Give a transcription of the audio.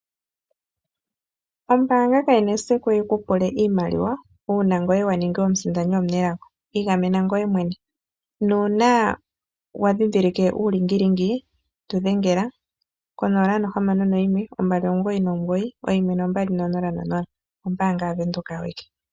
Ombaanga kayina esiku yikupule iimaliwa uuna ngoye waninga omusindani omenelago . Igamena ngoye mwene nuuna wa ndhindhilike tu dhengela ko 0612991200.